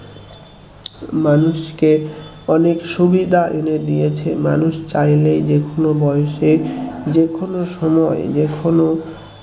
মানুষকে অনেক সুবিধা এনে দিয়েছে মানুষ চাইলে যে কোন বয়সে যে কোন সময়ে যে কোন